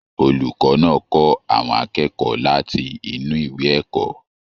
Olùkọ náà kọ àwọn akẹ́kọ̀ọ́ láti inú ìwé ẹ̀kọ́.